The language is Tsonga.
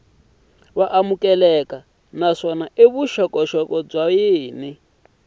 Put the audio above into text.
amukeleka naswona vuxokoxoko byin wana